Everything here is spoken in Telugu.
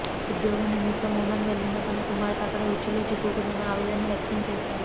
ఉద్యోగం నిమిత్తం ఒమన్ వెళ్లిన తన కుమార్తె అక్కడ ఉచ్చులో చిక్కుకుందని ఆవేదన వ్యక్తం చేశారు